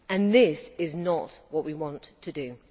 This is not what we want to do.